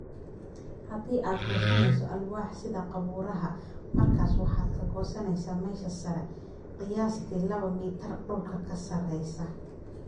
"Haddii aad gooynayso alwaax (sida qabuuraha) markaas waxaad ka gooysaa meesha sare, qiyaastii laba mitir dhulka ka sarreysa."